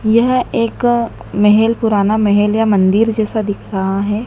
यह एक मेहेल पुराना मेहेल या मंदिर जैसा दिख रहा है।